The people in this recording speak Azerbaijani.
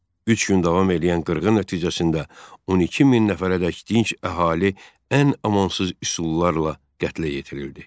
Üç gün davam eləyən qırğın nəticəsində 12 min nəfərədək dinc əhali ən amansız üsullarla qətlə yetirildi.